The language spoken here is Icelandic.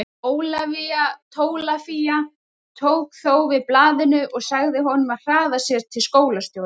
Ólafía Tólafía tók þó við blaðinu og sagði honum að hraða sér til skólastjórans.